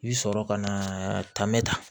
I bi sɔrɔ ka na ta mɛ ta